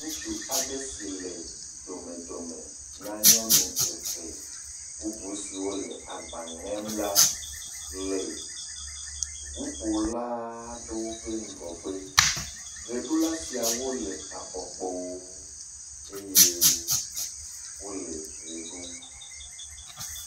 Ŋutsu aɖe si le domedome na nyɔnu eve. Bubu siwo le agba ŋem la le ŋuƒola ɖewo ƒe ŋgɔgbe. Ʋeɖula siawo le afɔkpowo eye wole ʋe ɖum.